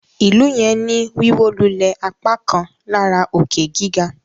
ilú yen tí ní Wíwólulẹ̀ apákan lára òkè-gíga.